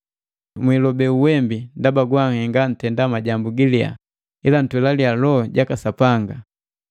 Mwiilobe uwembi ndaba gwanhenga ntenda majambu giliya, ila ntwelaliya Loho jaka Sapanga.